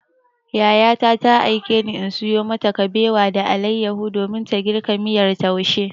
Yayata ta aikeni in sayo mata kabewa da alayyahu domin ta girka miyar taushe.